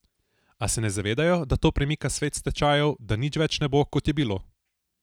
A se ne zavedajo, da to premika svet s tečajev, da nič več ne bo, kot je bilo?